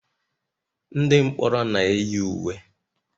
ndị mkpọrọ na-eyi uwe